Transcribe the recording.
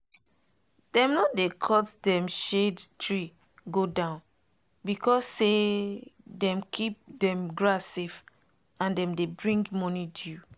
dem no dey cut dem shade tree go down because say dem keep dem grass safe and dem dey bring morning dew.